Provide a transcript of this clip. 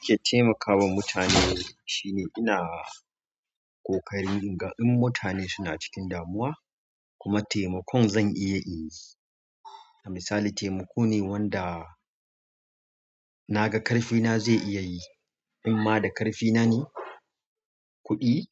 Nake taimakawa mutane shine ina ƙoƙarin in ga in mutane suna cikin damuwa kuma taimakon zan iya in yi. Misali taimako ne wanda na ga ƙarfina zai iya yi. In ma da ƙarfi na ne, kuɗi